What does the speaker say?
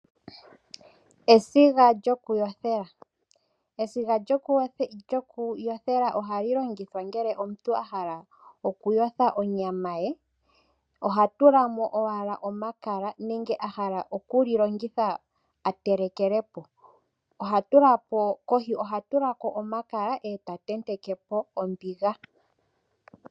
Esiga lyokuyothela ,esiga lyokuyothela ohali longithwa ngele omuntu a hala okuyotha onyama ye ohatula mo owala omakala nenge a hala okulilongitha atelekeleko kohi ohatula ko omakala eta ntentekeko ombiga.